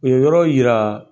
O yɔrɔ yira